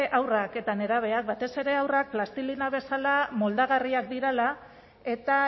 haurrak eta nerabeak batez ere haurrak plastilina bezala moldagarriak direla eta